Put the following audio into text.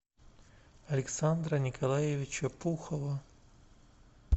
александра николаевича пухова